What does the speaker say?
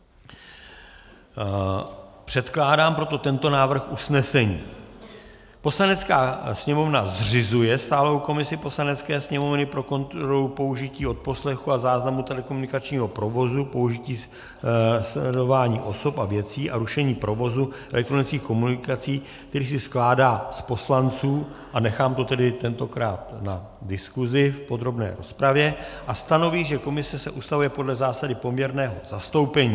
Předkládám proto tento návrh usnesení: Poslanecká sněmovna zřizuje stálou komisi Poslanecké sněmovny pro kontrolu použití odposlechů a záznamů telekomunikačního provozu, použití sledování osob a věcí a rušení provozu elektronických komunikací, který se skládá z poslanců - a nechám to tedy tentokrát na diskuzi v podrobné rozpravě -, a stanoví, že komise se ustavuje podle zásady poměrného zastoupení.